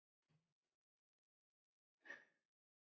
Hvað sagði ég??